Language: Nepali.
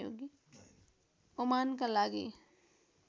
ओमानका लागि